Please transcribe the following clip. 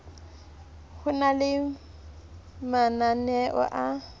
ho na le mananeo a